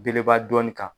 Belebeleba dɔnni kan